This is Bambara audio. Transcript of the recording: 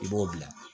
I b'o bila